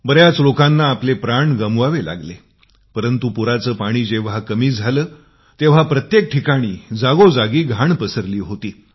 बरेच लोक आपले प्राण गमवून बसले परंतु पुराचे पाणी जेंव्हा कमी झाले तेंव्हा प्रत्येक ठिकाणी जागोजागी घाण पसरली होती